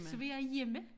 Så var jeg hjemme